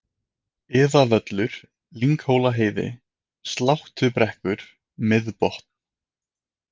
Iðavöllur, Lynghólaheiði, Sláttubrekkur, Miðbotn